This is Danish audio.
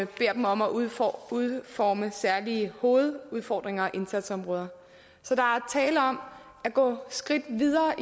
beder dem om at udforme udforme særlige hovedudfordringer og indsatsområder så der er tale om at gå skridt videre